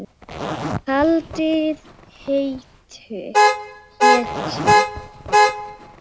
Haldið heitu.